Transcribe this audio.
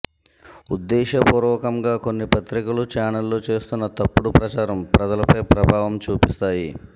ఉద్దేశపూర్వకంగా కొన్ని పత్రికలు ఛానెళ్లు చేస్తున్న తప్పుడు ప్రచారం ప్రజలపై ప్రభావం చూపిస్తాయి